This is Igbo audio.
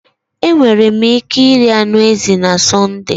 Enwere m ike iri anụ ezi na Sọnde?